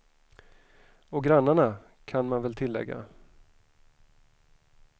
Och grannarna, kan man väl tillägga.